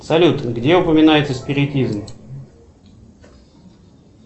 салют где упоминается спиритизм